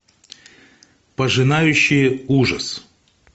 пожинающие ужас